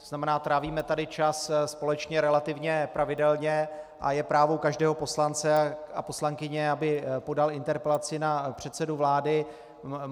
To znamená, trávíme tady čas společně relativně pravidelně a je právo každého poslance a poslankyně, aby podali interpelaci na předsedu vlády.